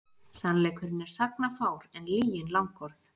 Sannleikurinn er sagnafár en lygin langorð.